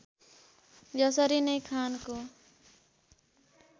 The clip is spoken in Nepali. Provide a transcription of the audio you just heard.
यसरी नै खानको